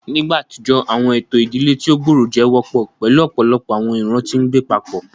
Ni igba atijọ, awọn eto idile ti o gbooro jẹ wọpọ, pẹlu ọpọlọpọ awọn iran ti ngbe papọ.